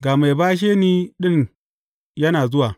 Ga mai bashe ni ɗin yana zuwa!